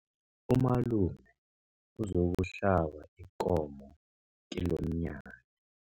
Umalume uzokuhlaba ikomo kilomnyanya.